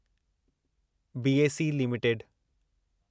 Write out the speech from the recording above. BSE limited